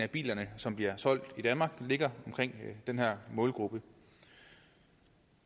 biler som bliver solgt i danmark ligger omkring den her målgruppe